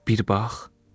Bir bax!